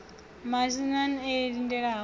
na maxenn e o lindelaho